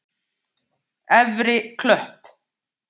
Efri Klöpp